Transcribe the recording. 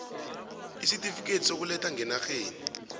isitifikhethi sokuletha ngenarheni